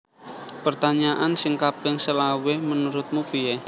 Pertanyaan sing kaping selawe menurutmu pie